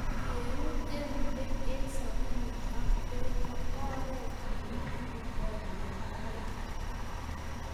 Keun eunek eng sabunit ak bek ko oret nikikirindoi mnyanwokik.